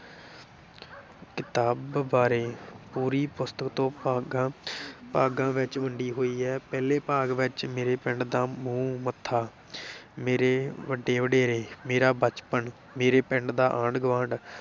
ਕਿਤਾਬ ਬਾਰੇ, ਪੂਰੀ ਪੁਸਤਕ ਦੋ ਭਾਗਾਂ ਭਾਗਾਂ ਵਿਚ ਵੰਡੀ ਹੋਈ ਹੈ, ਪਹਿਲੇ ਭਾਗ ਵਿਚ ਮੇਰੇ ਪਿੰਡ ਦਾ ਮੂੰਹ ਮੱਥਾ ਮੇਰੇ ਵੱਡੇ ਵਡੇਰੇ, ਮੇਰਾ ਬਚਪਨ, ਮੇਰੇ ਪਿੰਡ ਦਾ ਆਂਢ-ਗੁਆਂਢ,